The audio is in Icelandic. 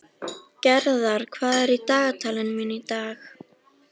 Gerðar, hvað er í dagatalinu mínu í dag?